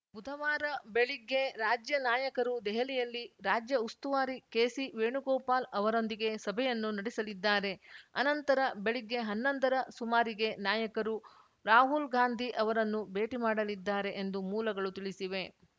ಬುಧವಾರ ಬೆಳಿಗ್ಗೆ ರಾಜ್ಯ ನಾಯಕರು ದೆಹಲಿಯಲ್ಲಿ ರಾಜ್ಯ ಉಸ್ತುವಾರಿ ಕೆಸಿ ವೇಣುಗೋಪಾಲ್‌ ಅವರೊಂದಿಗೆ ಸಭೆಯನ್ನು ನಡೆಸಲಿದ್ದಾರೆ ಅನಂತರ ಬೆಳಿಗ್ಗೆ ಹನ್ನೊಂದರ ಸುಮಾರಿಗೆ ನಾಯಕರು ರಾಹುಲ್‌ ಗಾಂಧಿ ಅವರನ್ನು ಭೇಟಿ ಮಾಡಲಿದ್ದಾರೆ ಎಂದು ಮೂಲಗಳು ತಿಳಿಸಿವೆ